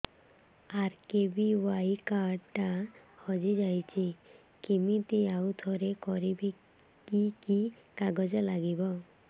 RKBY card ଟା ହଜିଯାଇଛି କିମିତି ଆଉଥରେ କରିବି କି କି କାଗଜ ଲାଗିବ